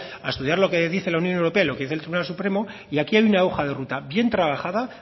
a estudiar lo que dice la unión europea y lo que dice el tribunal supremo y aquí hay una hoja de ruta bien trabajada